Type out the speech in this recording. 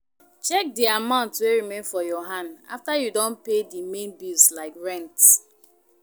Check di amount wey remain for your hand after you don pay di main bills like rent